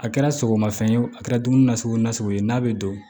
A kɛra sogomafɛn ye wo a kɛra dumuni na sugu nasugu ye n'a bɛ don